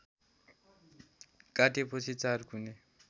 काटेपछि चारकुने